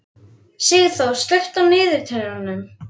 Sigþór, slökktu á niðurteljaranum.